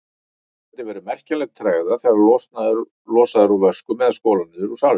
Eins gæti verið merkjanleg tregða þegar losað er úr vöskum eða skolað niður í salernum.